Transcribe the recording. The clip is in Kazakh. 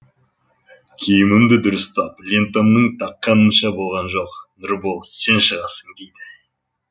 киімімді дұрыстап лентамның таққанымша болған жоқ нұрбол сен шығасың дейді